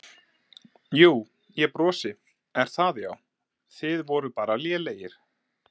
Jú, ég brosi Er það Já Þið voruð bara lélegir?